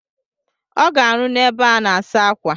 Ọ ga-arụ n'ebe a na-asa akwa.